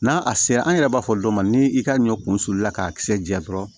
N'a a sera an yɛrɛ b'a fɔ dɔ ma ni i ka ɲɔ kun sulula ka kisɛ jɛ dɔrɔn